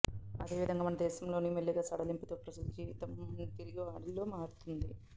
అదే విధంగా మనదేశంలోనూ మెల్లిగా సడలింపులతో ప్రజా జీవితం తిరిగి గాడిలో పడుతోంది